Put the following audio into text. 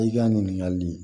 I ka ɲininkali